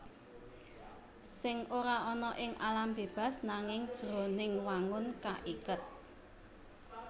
Sèng ora ana ing alam bébas nanging jroning wangun kaiket